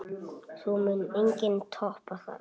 Það mun enginn toppa þær.